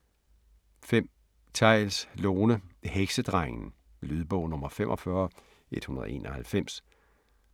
5. Theils, Lone: Heksedrengen Lydbog 45191